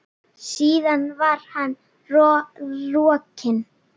Síðan var hann rokinn.